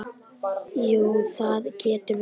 Jú, það getur verið.